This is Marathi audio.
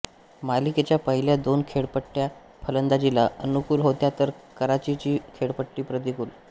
मालिकेच्या पहिल्या दोन खेळपट्ट्या फलंदाजीला अनुकूल होत्या तर कराचीची खेळपट्टी प्रतिकूल